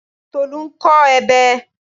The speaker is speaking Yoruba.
Tolú ń kọ ebè.